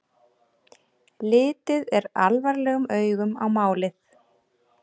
Litið er alvarlegum augum á málið